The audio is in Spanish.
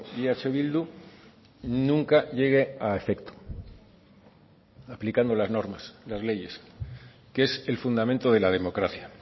y eh bildu nunca llegue a efecto aplicando las normas las leyes que es el fundamento de la democracia a